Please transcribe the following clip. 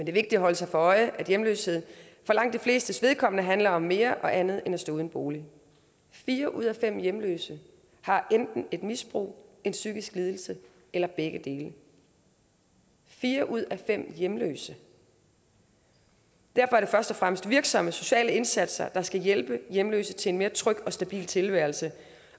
er vigtigt at holde sig for øje at hjemløshed for langt de flestes vedkommende handler om mere og andet end at stå uden bolig fire ud af fem hjemløse har enten et misbrug en psykisk lidelse eller begge dele fire ud af fem hjemløse derfor er det først og fremmest virksomme sociale indsatser der skal hjælpe hjemløse til en mere tryg og stabil tilværelse